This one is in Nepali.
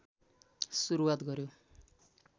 सुरुवात गर्‍यो